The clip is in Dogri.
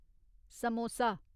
समोसा